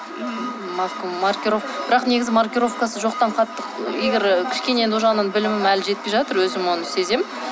ммм бірақ негізі маркировкасы жоқтан қатты егер і кішкене ол жағынан білімім әлі жетпей жатыр өзім оны сеземін